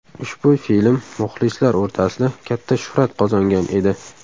Ushbu film muxlislar o‘rtasida katta shuhrat qozongan edi.